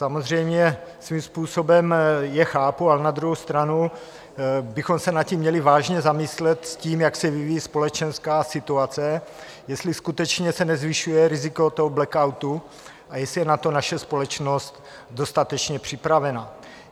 Samozřejmě svým způsobem je chápu, ale na druhou stranu bychom se nad tím měli vážně zamyslet, s tím, jak se vyvíjí společenská situace, jestli skutečně se nezvyšuje riziko toho blackoutu a jestli je na to naše společnost dostatečně připravena.